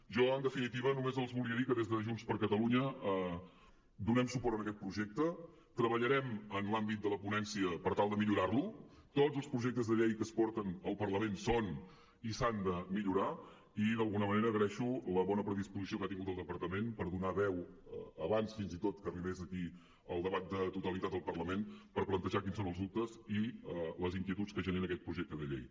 jo en definitiva només els volia dir que des de junts per catalunya donem suport a aquest projecte treballarem en l’àmbit de la ponència per tal de millorar lo tots els projectes de llei que es porten al parlament són i s’han de millorar i d’alguna manera agraeixo la bona predisposició que ha tingut el departament per donar veu abans fins i tot que arribés aquí el debat de totalitat al parlament per plantejar quins són els dubtes i les inquietuds que genera aquest projecte de llei